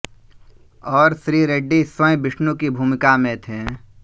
और श्री रेड्डी स्वयं विष्णु की भूमिका में थे